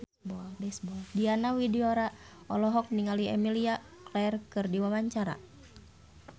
Diana Widoera olohok ningali Emilia Clarke keur diwawancara